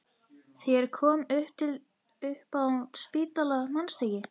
Þegar ég kom til þín upp á spítala, manstu ekki?